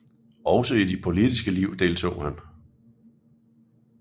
Også i det politiske liv deltog han